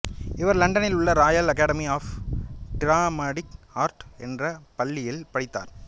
இவர் இலண்டனில் உள்ள royal academy of dramatic art என்றப் பள்ளியில் படித்தார்